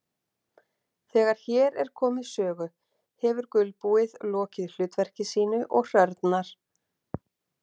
Þegar hér er komið sögu hefur gulbúið lokið hlutverki sínu og hrörnar.